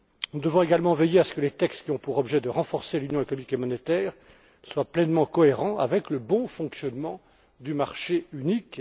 Nous devons également veiller à ce que les textes qui ont pour objet de renforcer l'union économique et monétaire soient pleinement cohérents avec le bon fonctionnement du marché unique